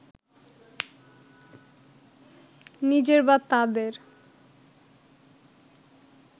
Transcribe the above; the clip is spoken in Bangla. নিজের বা তাঁদের